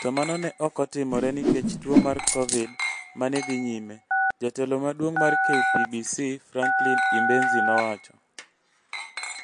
to mano ne ok otimore nikech tuo mar Covid ma ne dhi nyime, " Jatelo maduong' mar KPBC, Frankline Imbenzi nowacho.